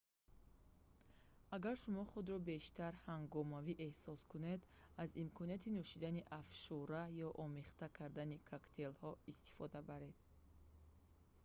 агар шумо худро бештар ҳангомавӣ эҳсос кунед аз имконоти нӯшидани афшура ё омехта кардани коктейлҳо истифода баред